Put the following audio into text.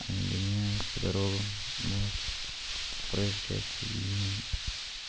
они гоняют по дорогам вот проезжей части и